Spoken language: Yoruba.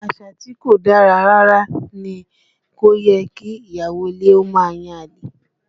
Àṣà tí kò dára rárá ní, kò yẹ kí ìyàwó ilé ó máa yan àlè